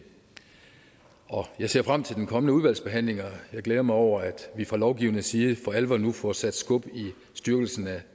jeg ser frem til den kommende udvalgsbehandling og jeg glæder mig over at vi fra lovgivernes side for alvor nu får sat skub i styrkelsen af